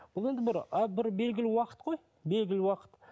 бұл енді бір а бір белгілі уақыт қой белгілі уақыт